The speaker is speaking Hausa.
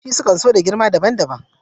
Ƙusoshi sukan so da girma daban-daban